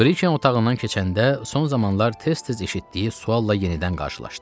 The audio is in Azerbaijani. Briken otağından keçəndə son zamanlar tez-tez eşitdiyi sualla yenidən qarşılaşdı.